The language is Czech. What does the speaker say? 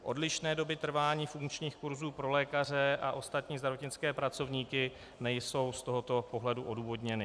Odlišné doby trvání funkčních kurzů pro lékaře a ostatní zdravotnické pracovníky nejsou z tohoto pohledu odůvodněny.